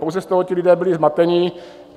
Pouze z toho ti lidé byli zmateni.